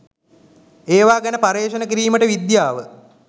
ඒවා ගැන පර්යේෂණ කිරීමට විද්‍යාව